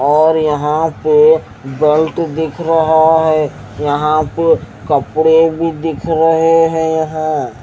और यहाँ पर बैल्ट दिख रहा है और सामने एक मोटर बाइक खड़ी है।